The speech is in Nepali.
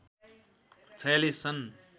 ४६ छन्